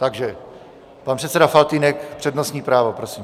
Takže pan předseda Faltýnek, přednostní právo, prosím.